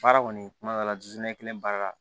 Baara kɔni kuma dɔw la jiɲɛ kelen baara la